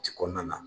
Ci kɔnɔna na